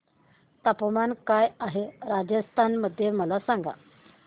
तापमान काय आहे राजस्थान मध्ये मला सांगा